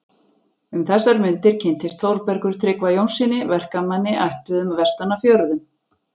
Um þessar mundir kynnist Þórbergur Tryggva Jónssyni, verkamanni ættuðum vestan af fjörðum.